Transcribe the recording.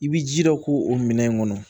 I b'i jija o k'o o minɛn in kɔnɔ